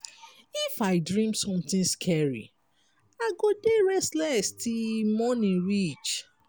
if i dream something scary i go dey restless till morning reach.